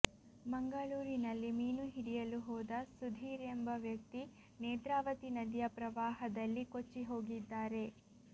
ಮಂಗಳೂರಿನಲ್ಲಿ ಮೀನು ಹಿಡಿಯಲು ಹೋದ ಸುಧೀರ್ ಎಂಬ ವ್ಯಕ್ತಿ ನೇತ್ರಾವತಿ ನದಿಯ ಪ್ರವಾಹದಲ್ಲಿ ಕೊಚ್ಚಿ ಹೋಗಿದ್ದಾರೆ